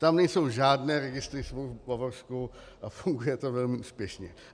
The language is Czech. Tam nejsou žádné registry smluv, v Bavorsku, a funguje to velmi úspěšně.